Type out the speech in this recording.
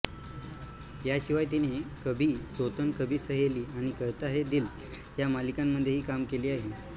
याशिवाय तिने कभी सौतन कभी सहेली आणि कहता है दिल ह्या मालिकांमधेही कामे केली आहेत